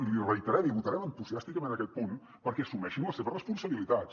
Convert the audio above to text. i l’hi reiterem i votarem entusiàsticament aquest punt perquè assumeixin les seves responsabilitats